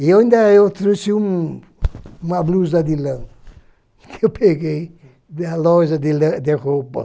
E eu ainda trouxe um uma blusa de lã, que eu peguei da loja de le de roupa.